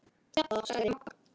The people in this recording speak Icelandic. Hjalla, sagði Magga.